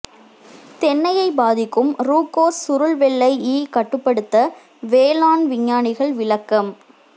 தென்னையை பாதிக்கும் ரூகோஸ் சுருள் வெள்ளை ஈ கட்டுப்படுத்த வேளாண் விஞ்ஞானிகள் விளக்கம்